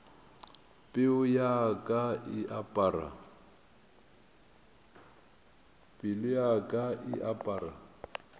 pelo ya ka e apara